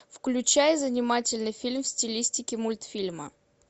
включай занимательный фильм в стилистике мультфильма